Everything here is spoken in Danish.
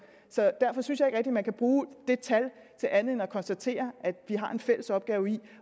så derfor synes jeg ikke rigtig man kan bruge det tal til andet end at konstatere at vi har en fælles opgave i